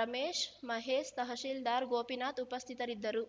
ರಮೇಶ್‌ ಮಹೇಶ್‌ ತಹಸೀಲ್ದಾರ್‌ ಗೋಪಿನಾಥ ಉಪಸ್ಥಿತರಿದ್ದರು